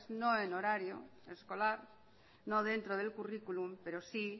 no en horario escolar no dentro del currículum pero sí